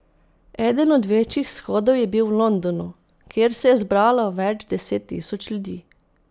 Eden od večjih shodov je bil v Londonu, kjer se je zbralo več deset tisoč ljudi.